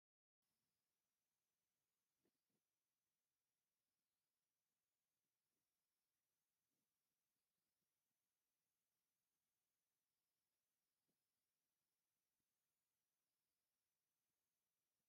ሓመኩሽቲ/ስሚንቶ ሕብሪ ዘለዋ ሓወልቲ አክሱም አብ ሓምለዎት ሳዕሪታትን ተክሊታትን ዘለዎ ቦታ ጠጠው ኢላ አብ ሰማያዊ ድሕረ ባይታ ትርከብ፡፡ እዛ ሓወልቲ እዚአ ቁመታ ክንደይ ሜትሮ እያ?